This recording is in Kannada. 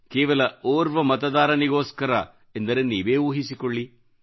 ಕೇವಲ ಓರ್ವ ಮತದಾರನಿಗೋಸ್ಸರ ಎಂದರೆ ನೀವೇ ಊಹಿಸಿಕೊಳ್ಳಿ